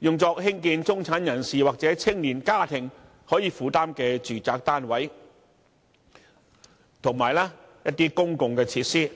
用作興建中產人士或青年家庭可負擔的住宅單位，以及一些公共設施。